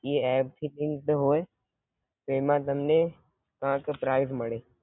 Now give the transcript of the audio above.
ઇ app છે તે રીતે હોય તેમાં તમને આંક પ્રાઇસ મળે